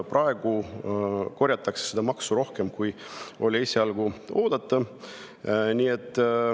Praegu korjatakse seda maksu rohkem, kui oli esialgu oodata.